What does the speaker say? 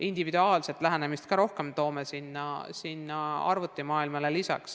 Individuaalset lähenemist on arvutimaailma kõrvale rohkem vaja.